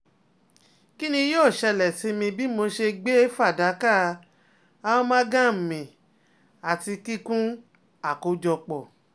Kini yoo ṣẹlẹ si mi bi mo ṣe gbe fadaka-amalgam mì ati kikun akojọpọ?